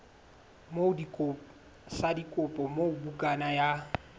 sa dikopo moo bukana ya